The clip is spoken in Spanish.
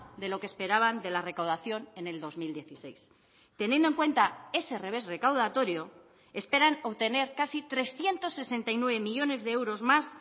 de lo que esperaban de la recaudación en el dos mil dieciséis teniendo en cuenta ese revés recaudatorio esperan obtener casi trescientos sesenta y nueve millónes de euros más